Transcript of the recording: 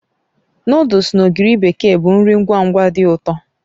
Nụdles na ogiri bekee bụ nri ngwa ngwa dị ụtọ